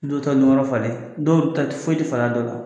Dɔw ta yɔrɔ falen dɔw ta ti foyi ti falen dɔ la.